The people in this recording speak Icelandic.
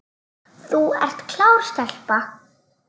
Þú ert klár stelpa.